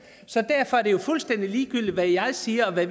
så derfor er det jo fuldstændig ligegyldigt hvad jeg siger her